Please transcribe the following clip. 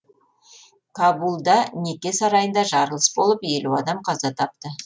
кабулда неке сарайында жарылыс болып елу адам қаза тапты